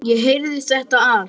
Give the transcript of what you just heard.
Ég heyrði þetta allt.